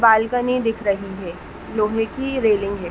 Balcony दिख रही है। लोहे की रेलिंग है।